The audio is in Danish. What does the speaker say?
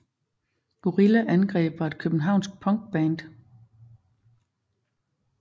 Gorilla Angreb var et københavnsk punkband